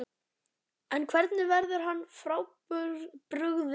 En hvernig verður hann frábrugðinn öðrum?